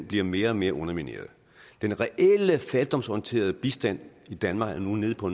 bliver mere og mere undermineret den reelle fattigdomsorienterede bistand i danmark er nu nede på